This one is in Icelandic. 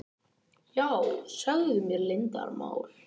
Já, segðu mér leyndarmál.